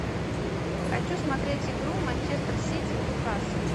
хочу смотреть игру манчестер сити ньюкасл